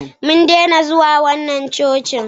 mun daina zuwa wannan cocin